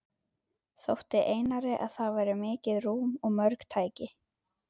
Þótti Einari, að þar væri mikið rúm og mörg tæki.